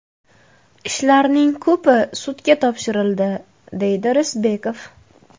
Ishlarning ko‘pi sudga topshirildi”, deydi Risbekov.